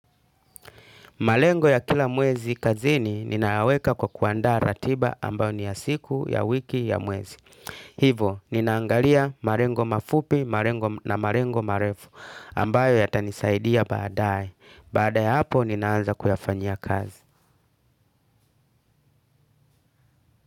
Malengo ya kila mwezi kazini ninayaweka kwa kuandaa ratiba ambayo ni ya siku ya wiki ya mwezi. Hivo, ninaangalia marengo mafupi na marengo marefu ambayo yatanisaidia baadae. Baadae hapo ninaanza kuyafanyia kazi.